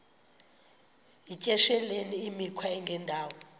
yityesheleni imikhwa engendawo